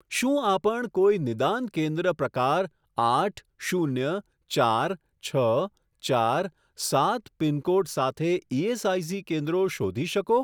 શું આપણ કોઈ નિદાન કેન્દ્ર પ્રકાર આઠ શૂન્ય ચાર છ ચાર સાત પિનકોડ સાથે ઇએસઆઇસી કેન્દ્રો શોધી શકો?